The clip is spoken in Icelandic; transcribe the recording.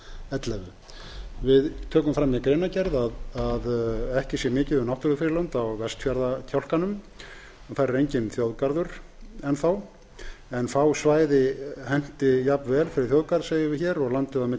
ellefu við tökum fram í greinargerð að ekki sé mikið um náttúrufriðlönd á vestfjarðakjálkanum og þar er enginn þjóðgarður enn þá en fá svæði henti jafn vel fyrir þjóðgarð segjum við hér og landið á milli